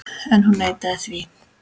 En hún neitaði því.